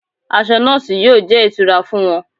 Aṣọ nọọsi yóò jẹ́ ìtura fún wọn